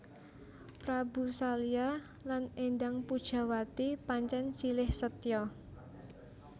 Prabu Salya lan Endang Pujawati pancèn silih setya